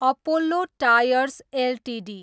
Apollo tyres Ltd